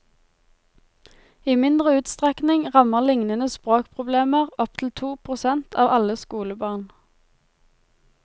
I mindre utstrekning rammer lignende språkproblemer opptil to prosent av alle skolebarn.